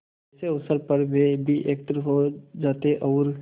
ऐसे अवसरों पर वे भी एकत्र हो जाते और